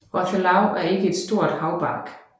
Rothelau er ikke nogen stor haubarg